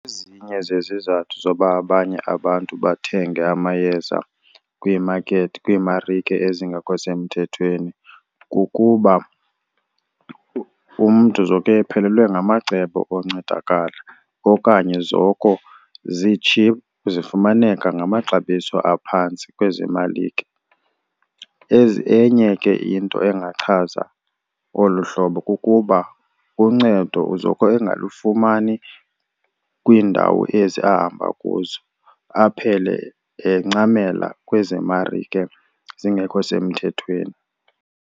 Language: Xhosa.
Ezinye zezizathu zoba abanye abantu bathenge amayeza kwiimakethi, kwiimarike ezingekho semthethweni kukuba umntu zoke ephelelwe ngamacebo oncedakala okanye zoko zi-cheap, zifumaneka ngamaxabiso aphantsi kwezi malike. Enye ke into engachaza olu hlobo kukuba uncedo uzoko engalufumani kwiindawo ezi ahamba kuzo, aphele encamela kwezi marike zingekho semthethweni.